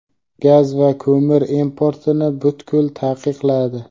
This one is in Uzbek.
gaz va ko‘mir importini butkul taqiqladi.